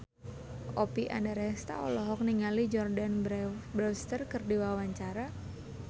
Oppie Andaresta olohok ningali Jordana Brewster keur diwawancara